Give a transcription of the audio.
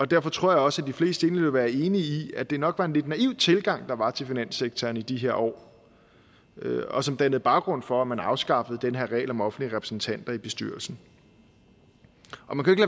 derfor tror jeg også at de fleste egentlig vil være enig i at det nok var en lidt naiv tilgang der var til finanssektoren i de her år og som dannede baggrund for at man afskaffede den her regel om offentlige repræsentanter i bestyrelsen